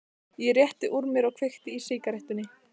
Ég rétti úr mér og kveiki í sígarettunni.